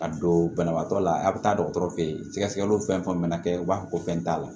A don banabaatɔ la a bɛ taa dɔgɔtɔrɔ feyi sɛgɛliw fɛn fɛn mana kɛ u b'a fɔ ko fɛn t'a la